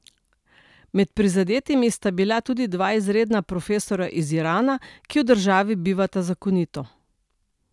Med prizadetimi sta bila tudi dva izredna profesorja iz Irana, ki v državi bivata zakonito.